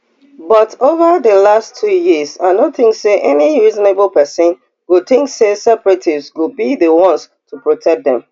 but ova di last two years i no tink say any reasonable pesin go tink say separatists go be di ones to protect them